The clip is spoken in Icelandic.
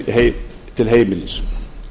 yfir til heimilis